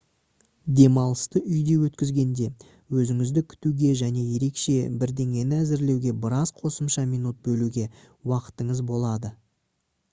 демалысты үйде өткізгенде өзіңізді күтуге және ерекше бірдеңені әзірлеуге біраз қосымша минут бөлуге уақытыңыз болады